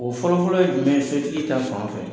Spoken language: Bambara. O fɔlɔ-fɔlɔ ye jumɛn ye setigi ta fan fɛ?